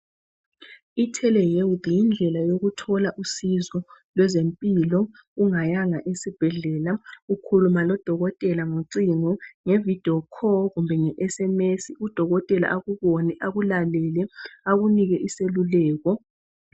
Itelehealth yindlela yokuthola usizo lwezempilo ungayanga esibhedlela ukhuluma lo dokotela ngocingo nge vidiyo kholu kumbe nge SMS udokotela akubone akulalele akunike iseluleko